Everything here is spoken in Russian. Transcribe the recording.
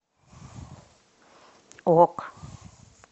ок